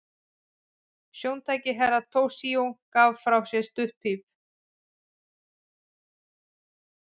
Stjórntæki Herra Toshizo gaf frá sér stutt píp.